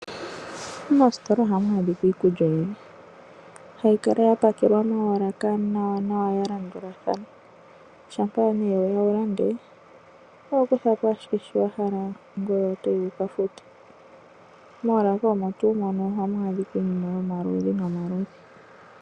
Moositola oha mu adhika iikulya oyindji hayi kala ya pakelwa moolaka nawanawa ya landulathana uuna weya wu lande oho kuthapo owala shoka wa hala ngoye to yi wuka fute. Moolaka omo tuu mono oha mu adhika iinima yomaludhi nomaludhi.